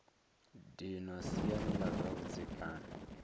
dinwa siani la zwa vhudzekani